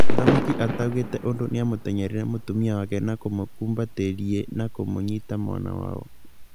Mũthamaki ataugĩte ũndũ nĩa mũtenyereire mũtumia wake na kũmũkũmbatĩriĩ nakũmũ nyita mwana wao.